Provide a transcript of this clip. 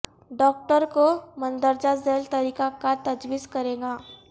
doctor کو مندرجہ ذیل طریقہ کار تجویز کرے گا